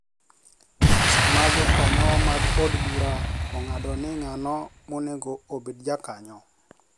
Sama jokanyo mag od bura ong'ado ni ng'ano monego obed jakanyo